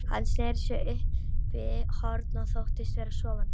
Hann sneri sér uppí horn og þóttist vera sofandi.